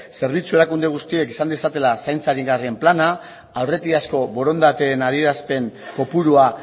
zerbitzu erakunde guztiek izan dezatela zaintza aringarrietako plana aurretiazko borondateen adierazpen kopurua